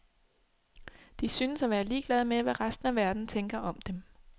De synes at være ligeglade med, hvad resten af verden tænker om dem.